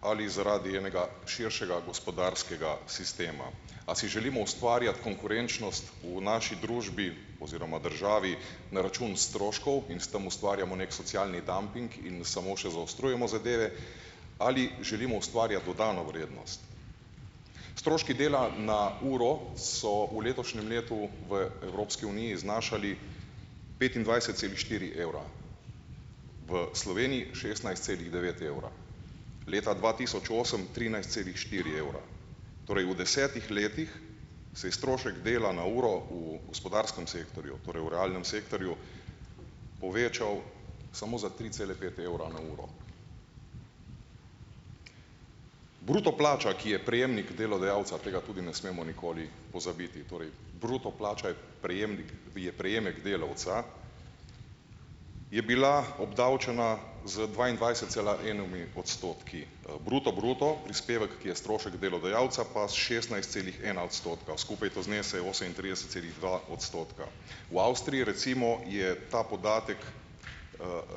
ali zaradi enega širšega gospodarskega sistema, a si želimo ustvarjati konkurenčnost v naši družbi oziroma državi na račun stroškov in s tam ustvarjamo neki socialni dumping in samo še zaostrujemo zadeve ali želimo ustvarjati dodano vrednost. Stroški dela na uro so v letošnjem letu v Evropski uniji znašali petindvajset celih štiri evra, v Sloveniji šestnajst celih devet evra, leta dva tisoč osem trinajst celih štiri evra, torej v desetih letih se je strošek dela na uro v gospodarskem sektorju, torej v realnem sektorju, povečal samo za tri cele pet evra na uro. Bruto plača, ki je prejemnik delodajalca, tega tudi ne smemo nikoli pozabiti, torej bruto plača je prejemnik je prejemek delavca, je bila obdavčena z dvaindvajset cela ena odstotki. Bruto bruto prispevek, ki je strošek delodajalca pa s šestnajst celih ena odstotka, skupaj to znese osemintrideset celih dva odstotka. V Avstriji recimo je ta podatek,